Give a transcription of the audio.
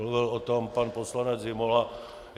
Mluvil o tom pan poslanec Zimola.